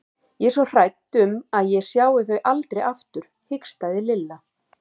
Ég er svo hrædd um að ég sjái þau aldrei aftur hikstaði Lilla.